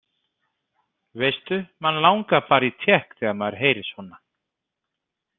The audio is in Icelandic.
Veistu, mann langar bara í tékk þegar maður heyrir svona.